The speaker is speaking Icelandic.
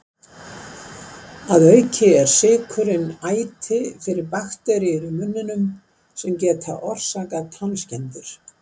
Að auki er sykurinn æti fyrir bakteríur í munninum, sem geta orsakað tannskemmdir.